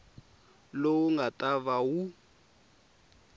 lowu nga ta va wu